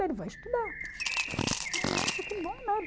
ele vai estudar. Falei nossa, que bom, né?